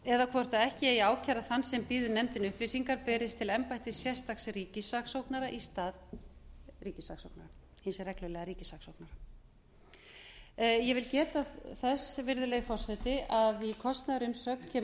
eða hvort ekki eigi að ákæra þann sem býður nefndinni upplýsingar berist til embættis sérstaks ríkissaksóknara í stað hins reglulega ríkissaksóknara ég vil geta þess virðulegi forseti að í kostnaðarumsögn kemur